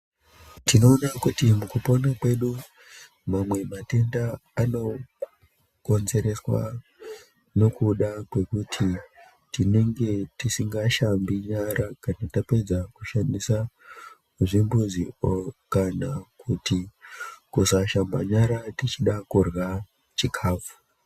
Tinoona kuti mukupona kwedu mamwe matenda anokonzereswa nokuda kwokuti tinenge tisingashambi nyara kana tapedza kushandisa zvimbuzi kana kuti kusashamba nyara tichida kurya chikafu.